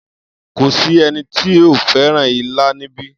Kò sí ẹni tí ó fẹ́ràn ilá níbí.